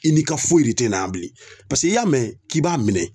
I ni ka foyi de te na yan bilen paseke i y'a mɛn k'i b'a minɛ